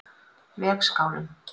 Vegskálum